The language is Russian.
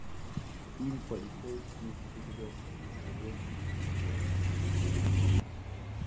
фильм полицейский с рублевки новогодний беспредел смотреть онлайн